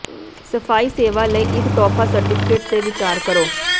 ਸਫਾਈ ਸੇਵਾ ਲਈ ਇਕ ਤੋਹਫ਼ਾ ਸਰਟੀਫਿਕੇਟ ਤੇ ਵਿਚਾਰ ਕਰੋ